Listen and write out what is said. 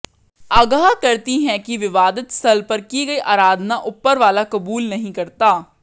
अगाह करती हैं कि विवादित स्थल पर की गई आराधना ऊपरवाला कबूल नहीं करता